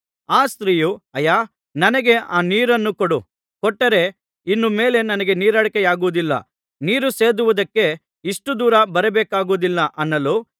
ಆ ಸ್ತ್ರೀಯು ಅಯ್ಯಾ ನನಗೆ ಆ ನೀರನ್ನು ಕೊಡು ಕೊಟ್ಟರೆ ಇನ್ನು ಮೇಲೆ ನನಗೆ ನೀರಡಿಕೆಯಾಗುವುದಿಲ್ಲ ನೀರು ಸೇದುವುದಕ್ಕೆ ಇಷ್ಟು ದೂರ ಬರಬೇಕಾಗಿರುವುದಿಲ್ಲ ಅನ್ನಲು